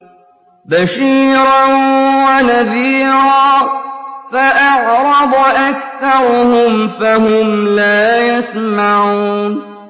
بَشِيرًا وَنَذِيرًا فَأَعْرَضَ أَكْثَرُهُمْ فَهُمْ لَا يَسْمَعُونَ